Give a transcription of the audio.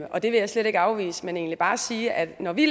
og det vil jeg slet ikke afvise men egentlig bare sige at når vi